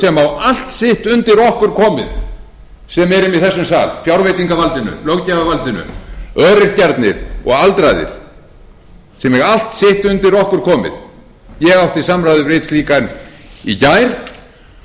sem á allt sitt undir okkur komið í þessum sal fjárveitingavaldinu löggjafarvaldinu öryrkjarnir og aldraðir sem eiga allt sitt undir okkur komið ég átti í samræðu við slíkan í gær og fletti upp